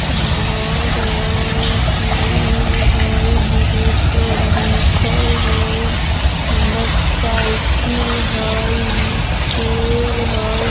घर हई ग्रिल हई ग्रिल पर लिखल हई अंदर साइकिल हई एने पेड़ हई।